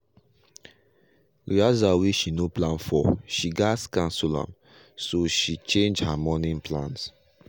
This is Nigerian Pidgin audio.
rehearsal wey she no plan for she gas cancel am. so she change her morning plans.